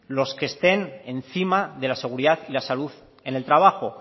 los que estén encima de la seguridad y la salud en el trabajo